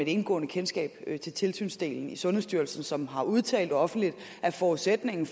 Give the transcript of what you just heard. indgående kendskab til tilsynsdelen i sundhedsstyrelsen som har udtalt offentligt at forudsætningen